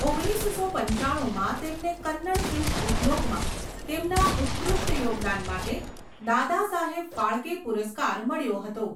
ઓગણીસસો પંચાણુંમાં , તેમને કન્નડ ફિલ્મ ઉદ્યોગમાં તેમના ઉત્કૃષ્ટ યોગદાન માટે દાદાસાહેબ ફાળકે પુરસ્કાર મળ્યો હતો.